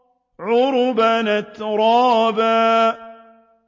عُرُبًا أَتْرَابًا